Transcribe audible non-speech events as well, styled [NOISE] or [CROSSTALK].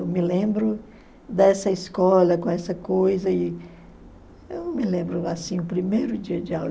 Eu me lembro dessa escola, com essa coisa, e eu não me lembro [UNINTELLIGIBLE] assim, o primeiro dia de aula.